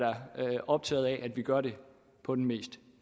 optaget af at vi gør det på den mest